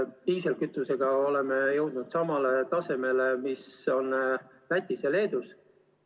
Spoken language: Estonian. Diislikütusega oleme jõudnud samale tasemele, mis on Lätis ja Leedus.